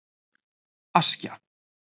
Askja